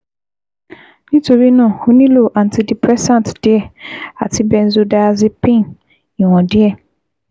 Nítorí náà, ó nílò antidepressant díẹ̀ àti benzodiazepine ìwọ̀n díẹ̀